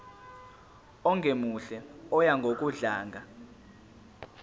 ongemuhle oya ngokudlanga